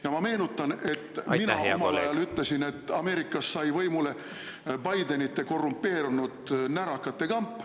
Ja ma meenutan, et mina omal ajal ütlesin, et Ameerikas sai võimule Bidenite korrumpeerunud närakate kamp …